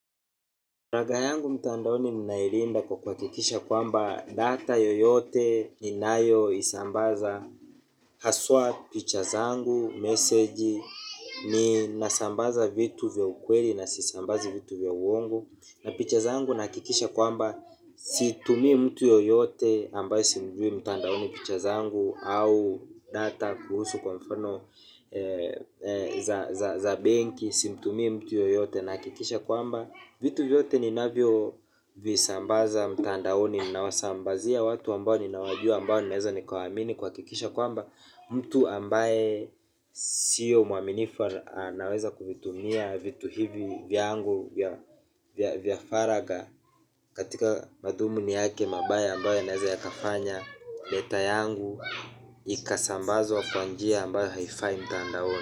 Raga yangu mtandaoni ninailinda kwa kuhakikisha kwamba data yoyote ninayo isambaza. Haswa picha zangu, meseji, ninasambaza vitu vya ukweli na sisambazi vitu vya uongo na picha zangu nahakikisha kwamba situmii mtu yoyote ambaye simjui mtandaoni picha zangu au data kuhusu kwa mfano ee za benki, simtumii mtu yoyote nahakikisha kwamba vitu vyote ninavyo visambaza mtandaoni ninawasambazia watu ambao ninawajua ambao ninaweza nikawaamini kuhakikisha kwamba mtu ambaye sio mwaminifu ana anaweza kuvitumia vitu hivi vyangu vya vya vya faragha katika madhumuni yake mabaya ambayo yanaweza yakafanya data yangu ikasambazwa kwa njia ambayo haifai mtandaoni.